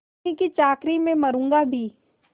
उन्हीं की चाकरी में मरुँगा भी